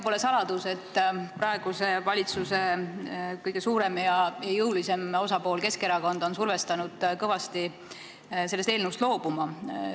Pole saladus, et praeguse valitsuse kõige suurem ja jõulisem osapool Keskerakond on kõvasti teid survestanud sellest eelnõust loobuma.